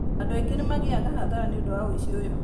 Andũ aingĩ nĩ magĩaga hathara nĩ ũndũ wa ũici ũyũ.